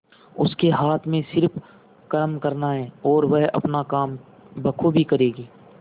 उसके हाथ में सिर्फ कर्म करना है और वह अपना काम बखूबी करेगी